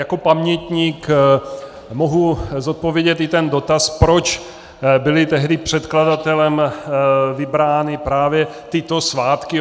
Jako pamětník mohu zodpovědět i ten dotaz, proč byly tehdy předkladatelem vybrány právě tyto svátky.